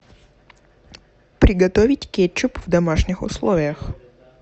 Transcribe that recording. приготовить кетчуп в домашних условиях